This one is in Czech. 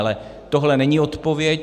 Ale tohle není odpověď.